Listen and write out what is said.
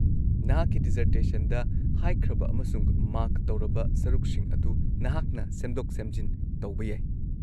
-ꯅꯍꯥꯛꯀꯤ ꯗꯤꯖꯔꯇꯦꯁꯟꯗ ꯍꯥꯏꯈ꯭ꯔꯕ ꯑꯃꯁꯨꯡ ꯃꯥꯔꯛ ꯇꯧꯔꯕ ꯁꯔꯨꯛꯁꯤꯡ ꯑꯗꯨ ꯅꯍꯥꯛꯅ ꯁꯦꯝꯗꯣꯛ-ꯁꯦꯝꯖꯤꯟ ꯇꯧꯕ ꯌꯥꯏ꯫